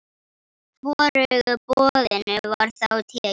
Hvorugu boðinu var þá tekið.